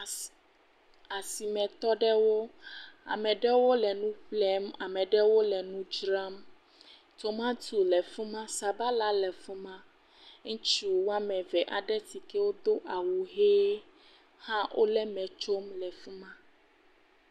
Asi asimetɔ aɖewo, ame aɖewo le nu ƒlem, ame aɖewo le nu dzram. Tomato le fi ma, sabala le fi ma. Ŋutsu ame eve aɖe si ke wodo awu ʋi hã wole me tsom le fi ma.